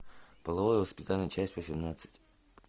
половое воспитание часть восемнадцать